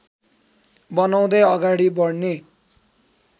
बनाउँदै अगाडि बढ्ने